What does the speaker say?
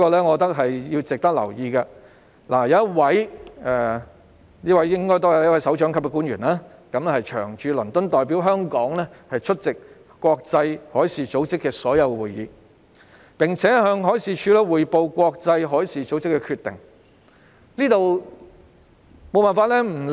海事處安排一位首長級官員長駐倫敦，並代表香港出席國際海事組織所有會議及向海事處匯報國際海事組織的決定，我認為這點值得留意。